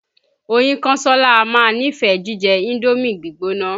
Oyínkánsọ́lá á máa nífẹ̀ẹ jíjẹ Indómì gbígbóná.